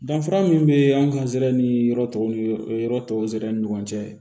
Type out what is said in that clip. Danfara min bɛ an ka sira ni yɔrɔ tɔw ni yɔrɔ tɔw sɛbɛn ni ɲɔgɔn cɛ